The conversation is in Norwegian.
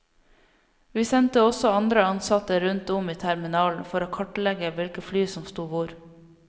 Vi sendte også andre ansatte rundt om i terminalen for å kartlegge hvilke fly som sto hvor.